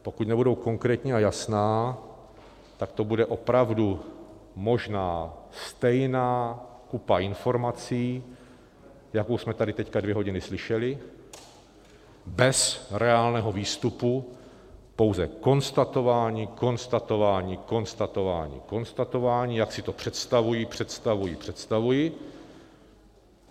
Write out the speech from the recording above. Pokud nebudou konkrétní a jasná, tak to bude opravdu možná stejná kupa informací, jakou jsme tady teď dvě hodiny slyšeli, bez reálného výstupu, pouze konstatování, konstatování, konstatování, konstatování, jak si to představují, představují, představují.